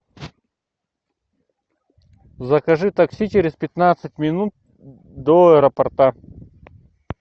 закажи такси через пятнадцать минут до аэропорта